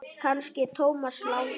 Kannski Thomas Lang?